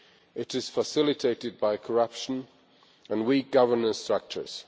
It is facilitated by corruption and weak governance structures.